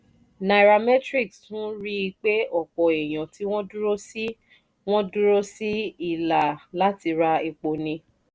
nairametrics tún rí i pé ọ̀pọ̀ èèyàn tí wọ́n dúró sí wọ́n dúró sí ìlà láti ra epo ní